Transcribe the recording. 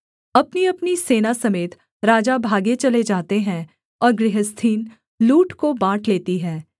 अपनीअपनी सेना समेत राजा भागे चले जाते हैं और गृहस्थिन लूट को बाँट लेती है